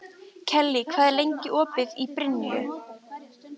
Kellý, hvað er lengi opið í Brynju?